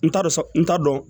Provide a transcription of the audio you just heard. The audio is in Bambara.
N t'a dɔn n t'a dɔn